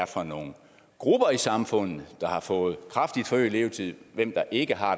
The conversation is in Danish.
for nogle grupper i samfundet der har fået kraftigt forøget levetid og hvem der ikke har